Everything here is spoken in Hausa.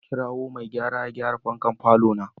Na kirawo mai gayara ya gyara fankan falona.